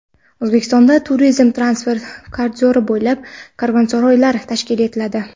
O‘zbekistonda turizm transport koridori bo‘ylab "Karvonsaroy"lar tashkil etiladi.